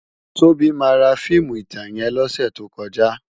Tobi má rá fiimú itán yèn lòsè tókòjá